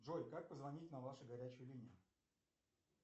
джой как позвонить на вашу горячую линию